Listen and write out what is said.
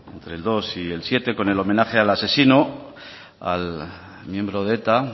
entre el dos y el siete con homenaje al asesino al miembro de eta